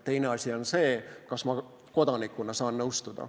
Teine asi on see, kas ma kodanikuna saan nõustuda.